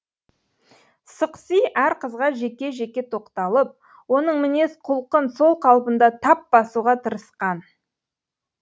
сықси әр қызға жеке жеке тоқталып оның мінез құлқын сол қалпында тап басуға тырысқан